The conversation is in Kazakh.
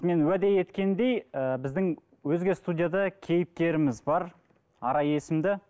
мен уәде еткендей ыыы біздің өзге студияда кейіпкеріміз бар арай есімді